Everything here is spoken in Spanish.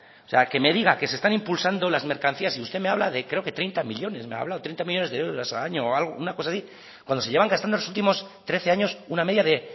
que me diga que se están impulsando las mercancías y usted me habla de creo que treinta millónes me ha hablado treinta millónes de euros al año o una cosa así cuando se llevan gastando los últimos trece años una media de